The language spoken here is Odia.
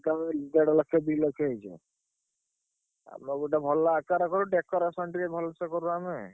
ଦେଢ ଲକ୍ଷ ଦି ଲକ୍ଷ ହେଇଯିବ। ଆମର ଗୋଟେ ଭଲ ଆକାର କରୁ decoration ଟିକେ ଭଲସେ କରୁ ଆମେ।